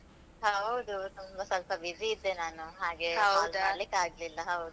ಹೌದು. ತುಂಬ ಸ್ವಲ್ಪ busy ಇದ್ದೆ ನಾನು, ಹಾಗೆ ಆಗ್ಲಿಲ್ಲ ಹೌದು.